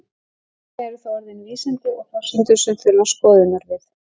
Einkum eru það orðin vísindi og forsendur sem þurfa skoðunar við.